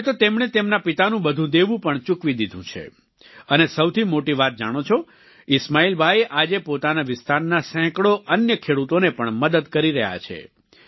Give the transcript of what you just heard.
હવે તો તેમણે તેમના પિતાનું બધુ દેવું પણ ચૂકવી દીધું છે અને સૌથી મોટી વાત જાણો છો ઈસ્માઈલભાઈ આજે પોતાના વિસ્તારના સેંકડો અન્ય ખેડૂતોની પણ મદદ કરી રહ્યા છે